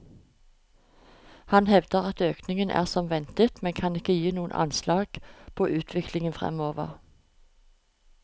Han hevder at økningen er som ventet, men kan ikke gi noe anslag på utviklingen fremover.